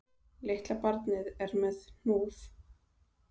Litla barnið er með hnúð